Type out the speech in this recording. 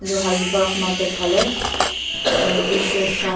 edu hazi park market fanae aro tshirt kan--